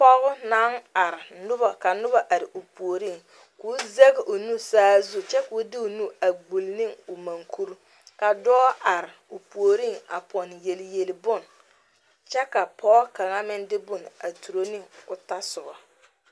Pɔge naŋ are ka noba are o puoriŋ ka o zege o nu saazu kyɛ ka o de o gbuli ne o mukuri ka dɔɔ are o puoriŋ a pɔnne yelyeli bone kyɛ ka pɔge kaŋa meŋ de boŋ a turo ne o tɔ soba.